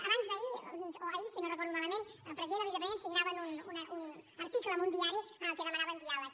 abans d’ahir o ahir si no ho recordo malament el president i el vicepresident signaven un article en un diari en el que demanaven diàleg